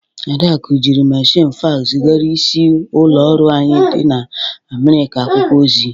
Adaku jiri mmechịnị faks zịgara isi ụlọ ọrụ anyị dị na Amịrịka akwụkwọ ozi